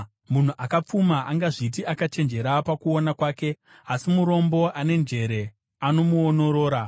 Munhu akapfuma angazviti akachenjera pakuona kwake, asi murombo ane njere anomuonorora.